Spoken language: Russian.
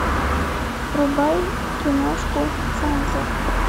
врубай киношку цензор